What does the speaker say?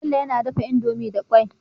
Bello yAna dafa indomie da kwai